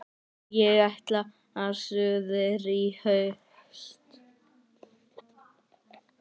Ég ætla suður í haust.